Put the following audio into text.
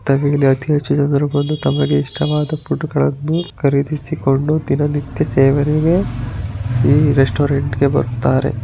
ತಮಗೆ ಇಷ್ಟವಾದ ಫುಡ್ ಗಳನ್ನು ಖರಿದಿಡಿಸಿಕೊಂಡು ದಿನನಿತ್ಯ ಸೇವನೆಗೆ ಈ ರೆಸ್ಟುಅರಾಂತ್ ಇಗೆ ಬರ್ತಾರೆ.